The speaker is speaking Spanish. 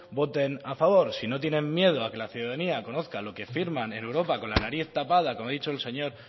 voten a favor si no tienen miedo a que la ciudadanía conozca lo que firman en europa con la nariz tapada como ha dicho el señor